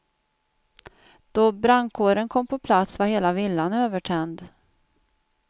Då brandkåren kom på plats var hela villan övertänd.